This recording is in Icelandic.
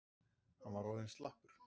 Hann var orðinn mjög slappur.